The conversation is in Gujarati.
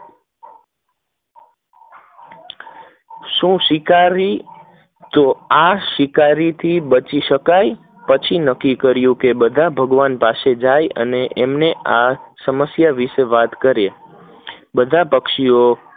શું શિકારી તો આ શિકારી થી બચી શકાય, પછી નક્કી કરીયું કે ભગવાન પાસે જાય એનો આ સમસ્યા વિષે વાત કરે બધા પક્ષીઓ